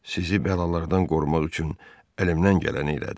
Sizi bəlalardan qorumaq üçün əlimdən gələni elədim.